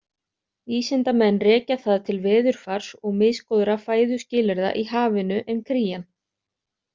Vísindamenn rekja það til veðurfars og misgóðra fæðuskilyrða í hafinu en krían.